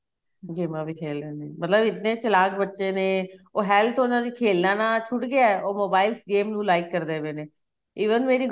ਗੇਮਾ ਵੀ ਖੇਲਣ ਗੇ ਮਤਲਬ ਇੰਨੇ ਚਲਾਕ ਬੱਚੇ ਨੇ ਉਹ health ਉਹਨਾ ਖੇਲਾ ਨਾਲ ਛੁੱਟ ਗਿਆ ਉਹ mobiles games ਨੂੰ like ਕਰਦੇ ਪਏ ਨੇ even ਮੇਰੀ